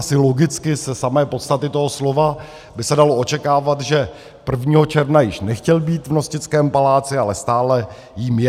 Asi logicky ze samé podstaty toho slova by se dalo očekávat, že 1. června již nechtěl být v Nostickém paláci, ale stále jím je.